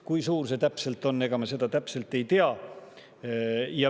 Kui suur see hulk täpselt on, ega me seda täpselt ei tea.